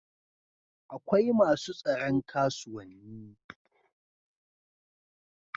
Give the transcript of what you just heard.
akwai masu tsaron kasuwanni